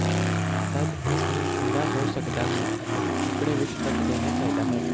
ਤਦ ਇਸ ਨੂੰ ਠੰਡਾ ਹੋ ਸਕਦਾ ਹੈ ਅਤੇ ਟੁਕੜੇ ਵਿੱਚ ਕੱਟ ਦੇਣਾ ਚਾਹੀਦਾ ਹੈ